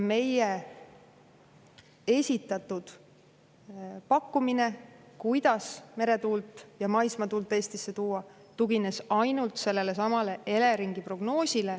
Meie esitatud pakkumine, kuidas meretuult ja maismaatuult Eestis, tugines ainult sellelesamale Eleringi prognoosile.